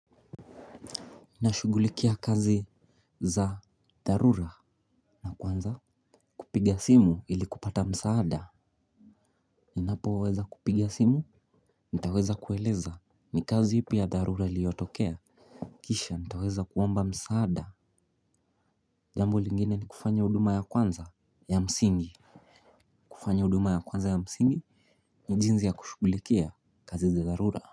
Nashughulikia kazi za dharura na kwanza kupiga simu ili kupata msaada. Ninapoweza kupiga simu, nitaweza kueleza ni kazi ipi ya dharura iliyotokea. Kisha nitaweza kuomba msaada. Jambo lingine ni kufanya huduma ya kwanza ya msingi. Kufanya huduma ya kwanza ya msingi ni jinsi ya kushugulikia kazi za dharura.